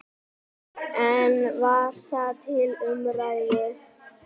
En var það til umræðu?